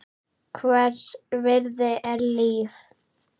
Hvers virði er líf?